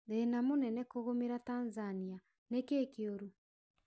Thĩĩna mũnene kũmĩra Tanzania, nikii kiurũ?